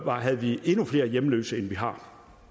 havde vi endnu flere hjemløse end vi har